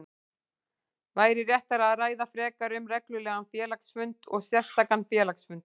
væri réttara að ræða frekar um reglulegan félagsfund og sérstakan félagsfund.